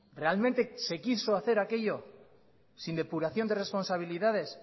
realmente se quiso hacer aquello sin depuración de responsabilidades